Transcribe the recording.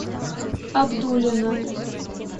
абдулино